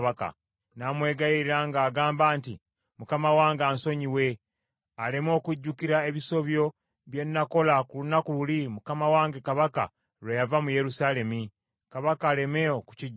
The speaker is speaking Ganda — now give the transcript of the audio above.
n’amwegayirira ng’agamba nti, “Mukama wange ansonyiwe, aleme okujjukira ebisobyo bye nakola ku lunaku luli, mukama wange kabaka lwe yava mu Yerusaalemi. Kabaka aleme okukijjukira.